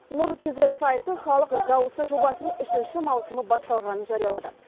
нұр кизед сайты халық дауысы жобасының үшінші маусымы басталғанын жариялады